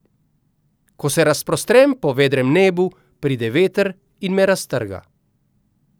Ko se razprostrem po vedrem nebu, pride veter in me raztrga.